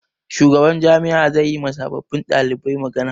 Shugaban jami'a zai yi ma sababbin ɗalibai magana.